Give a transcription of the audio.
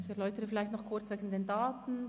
Ich erläutere noch kurz die Daten.